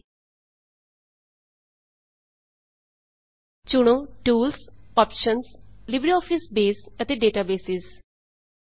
ਚੁਣੋ tools tools optionsਆਪਸ਼ੰਜ LibreOffice baseਲਿਬ੍ਰੇ ਆਫਿਸ ਬੇਸ ਅਤੇ ਡੇਟਾਬੇਸ ਡੇਟਾਬੇਸਿਜ਼ 2